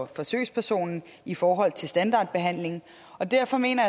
forsøgspersonen i forhold til standardbehandlingen og derfor mener